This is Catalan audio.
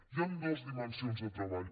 hi han dues dimensions de treball